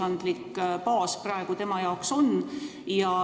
Mida seadus praegu ette näeb?